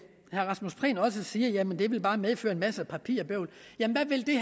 rasmus prehn også siger jamen det vil bare medføre en masse papirbøvl men hvad vil det